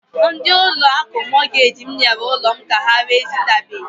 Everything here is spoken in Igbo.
Ndi ụlọ akụ Mọtgej m nyere ụlọ m ka ha ree ezitabeghi.